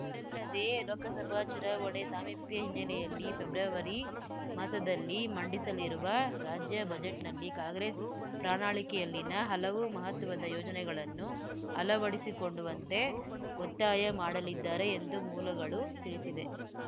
ಇದಲ್ಲದೆ ಲೋಕಸಭಾ ಚುನಾವಣೆ ಸಾಮೀಪ್ಯ ಹಿನ್ನೆಲೆಯಲ್ಲಿ ಫೆಬ್ರವರಿ ಮಾಸದಲ್ಲಿ ಮಂಡಿಸಲಿರುವ ರಾಜ್ಯ ಬಜೆಟ್‌ನಲ್ಲಿ ಕಾಂಗ್ರೆಸ್‌ ಪ್ರಣಾಳಿಕೆಯಲ್ಲಿನ ಹಲವು ಮಹತ್ವದ ಯೋಜನೆಗಳನ್ನು ಅಳವಡಿಸುಕೊಂಡುವಂತೆ ಒತ್ತಾಯ ಮಾಡಲಿದ್ದಾರೆ ಎಂದು ಮೂಲಗಳು ತಿಳಿಸಿದೆವೆ